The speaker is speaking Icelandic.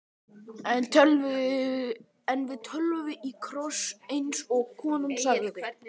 En við tölum í kross, eins og konan sagði.